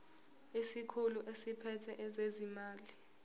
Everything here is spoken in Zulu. isikhulu esiphethe ezezimali